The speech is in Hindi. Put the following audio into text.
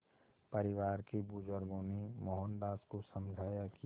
परिवार के बुज़ुर्गों ने मोहनदास को समझाया कि